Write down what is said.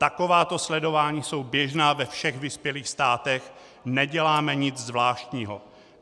Takováto sledování jsou běžná ve všech vyspělých státech, neděláme nic zvláštního.